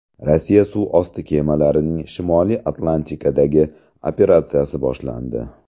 Rossiya suv osti kemalarining Shimoliy Atlantikadagi operatsiyasi boshlandi.